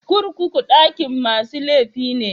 Kurkuku dakin masu laifi ne.